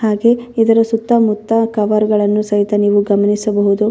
ಹಾಗೆ ಇದರ ಸುತ್ತಮುತ್ತ ಕವರ್ಗಳನ್ನು ಸಹಿತ ನೀವು ಗಮನಿಸಬಹುದು.